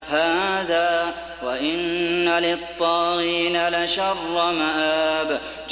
هَٰذَا ۚ وَإِنَّ لِلطَّاغِينَ لَشَرَّ مَآبٍ